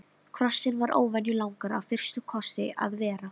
Kossinn var óvenju langur af fyrsta kossi að vera.